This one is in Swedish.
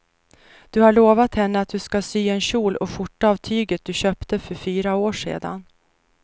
Du har lovat henne att du ska sy en kjol och skjorta av tyget du köpte för fyra år sedan.